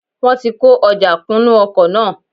Wọ́n ti kó ojà kún nú ọkọ̀ náà